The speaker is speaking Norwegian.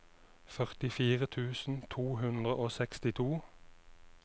førtifire tusen to hundre og sekstito